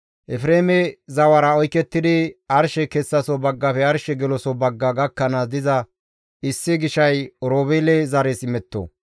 Efreeme zawara oykettidi arshe kessaso baggafe arshe geloso bagga gakkanaas diza issi gishay Oroobeele zares imetto.